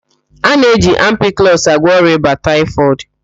A na-eji ampiklọs agwọ ọrịa ịba taịfọdụ.